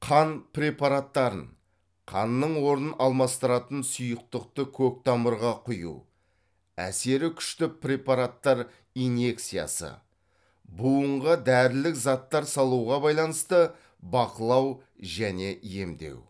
қан препараттарын қанның орнын алмастыратын сұйықтықты көктамырға құю әсері күшті препараттар инъекциясы буынға дәрілік заттар салуға байланысты бақылау және емдеу